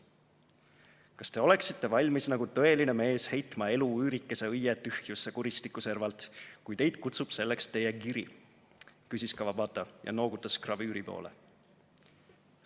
"Kas te oleksite valmis nagu tõeline mees heitma elu üürikese õie tühjusesse kuristiku servalt, kui teid kutsub selleks teie giri?" küsis Kawabata ja noogutas gravüüri poole.